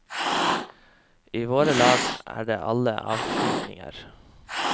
I våre lag er det alle avskygninger.